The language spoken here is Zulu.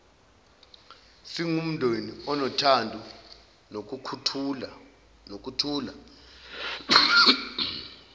singumndeni onothando nokuthula